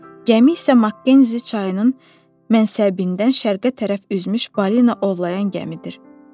Gəmi isə Makkensi çayının mənsəbindən şərqə tərəf üzmüş balina ovlayan gəmidir.